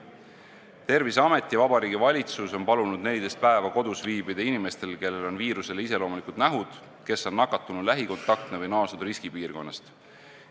Terviseamet ja Vabariigi Valitsus on palunud 14 päeva kodus viibida inimestel, kellel on viirusele iseloomulikud nähud, kes on nakatunu lähikontaktsed või naasnud riskipiirkonnast.